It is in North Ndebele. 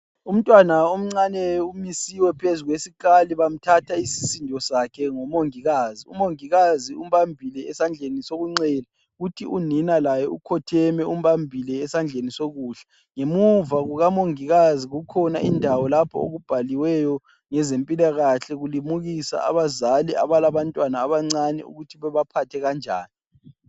Lumntwana omncane umisiwe phezu kwesikali bamthatha isisindo sakhe ngumongikazi. Umongikazi umbambile esandleni sokunxele kuthi unina laye ukhotheme umbambile esandleni sokudla. Ngemuva kukamongikazi kukhona indawo lapho okubhaliweyo ngezempilakahle kulimukiswa abazali abalabantwana abancane ukuthi bebaphathe kanjani.